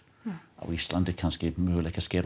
á Íslandi er kannski möguleiki að skera